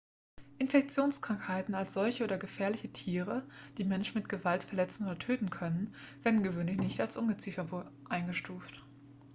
infektionskrankheiten als solche oder gefährliche tiere die menschen mit gewalt verletzen oder töten können werden gewöhnlich nicht als ungeziefer eingestuft